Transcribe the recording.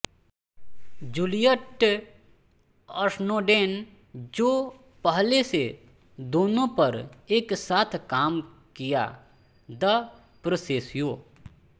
Juliet Snowden जो पहले से दोनों पर एक साथ काम किया द पोस्सेस्सिओं